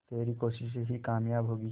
तेरी कोशिशें ही कामयाब होंगी